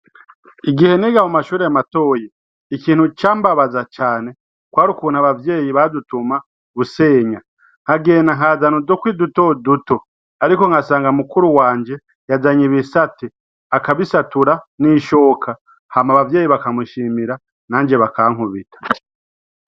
Igihe niga mu mashure matoya ikintu cambabaza cane kwar'ukuntu abavyeyi badutuma gusenya, nkagenda nkazan'udukwi dutoduto ariko nkasanga mukuru wanje yazany'ibisate , akabisatura n'ishoka ham'abavyeyi bakamushimira nanje bakankubita.